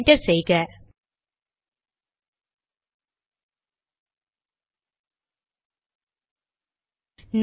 என்டரை தட்டுவோம்